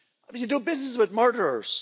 You do business with murderers.